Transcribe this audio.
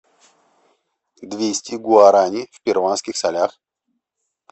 двести гуарани в перуанских солях